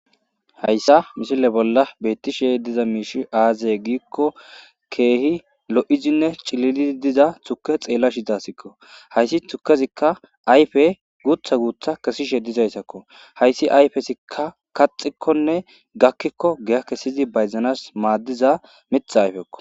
hayssa mishile bolla beettishe diza miishi aazaye giikko keehi lo7izinne cilili diza tuke xeella shidaasikko hayssi tukezikka ayfe guutha guutha kesishe dizayssakko hayssi ayfesikka kaxikkonne gakkikko giya kessyizi bayzanas maaddiza mitha ayfekko